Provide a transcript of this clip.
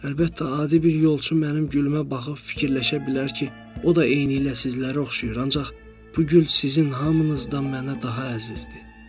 Əlbəttə, adi bir yolçu mənim gülümbə baxıb fikirləşə bilər ki, o da eynilə sizlərə oxşayır, ancaq bu gül sizin hamınızdan mənə daha əzizdir.